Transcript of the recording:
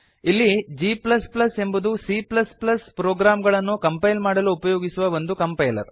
ಇಲ್ಲಿ g ಎಂಬುದು C program ಗಳನ್ನು ಕಂಪೈಲ್ ಮಾಡಲು ಉಪಯೋಗಿಸುವ ಒಂದು ಕಂಪೈಲರ್